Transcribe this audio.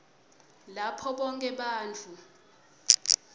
lapho bonkhe bantfu